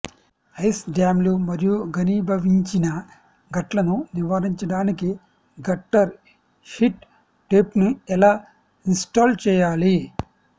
ice డ్యామ్లు మరియు ఘనీభవించిన గట్లను నివారించడానికి గట్టర్ హీట్ టేప్ను ఎలా ఇన్స్టాల్ చేయాలి